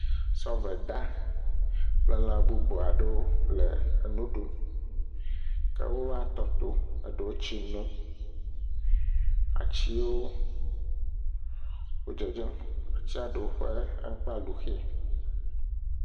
Sɔveda kple lã bubu aɖewo le nu ɖum ke wova tɔ to, eɖewo le tsi nom, atiwo wo dzedzem, atia ɖewo ƒe amakpa lu xe.